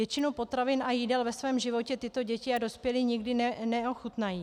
Většinu potravin a jídel ve svém životě tyto děti a dospělí nikdy neochutnají.